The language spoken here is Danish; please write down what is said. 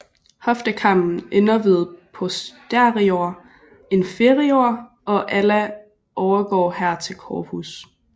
Hoftekammen ender ved posterior inferior og ala overgår her til corpus